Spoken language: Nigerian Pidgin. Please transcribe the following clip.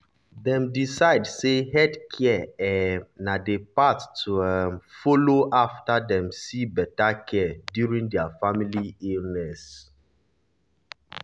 dem decide say healthcare um na the path to um follow after dem see better care during their family illness.